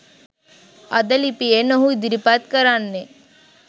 අද ලිපියෙන් ඔහු ඉදිරිපත් කරන්නේ